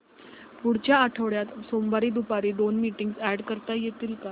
पुढच्या आठवड्यात सोमवारी दुपारी दोन मीटिंग्स अॅड करता येतील का